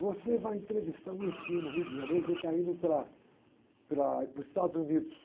Você vai entrevistar o no Rio de Janeiro, que ele está indo para, para ir para os Estados Unidos.